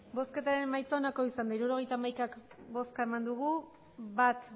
emandako botoak hirurogeita hamaika bai bat